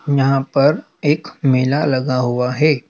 यहां पर एक मेला लगा हुआ है।